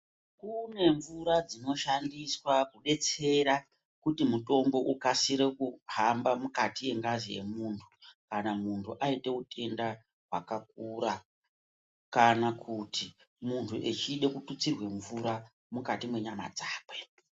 Kune mvura dzinoshandiswa kudetsera kuti mutombo ukasire kuhamba mukati yengazi yemuntu , kana muntu ayite wutenda hwakakura, kana kuti muntu echide kututsirwa mvura mukati menyama dzakwe.